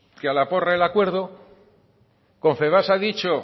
que a la porra el acuerdo confebask ha dicho